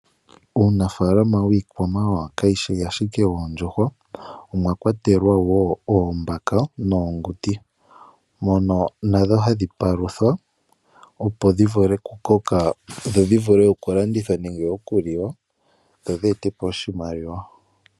Uunafaalama wiikwamawawa kawushi ashike woondjuhwa omwakwatelwa woo oombaka noonguti, mono nadho hadhi paluthwa opo dhi vule okuliwa nenge okulandithwa dhi ete po oshimaliwa.